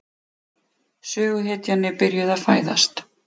Söguhetjan er byrjuð að fæðast.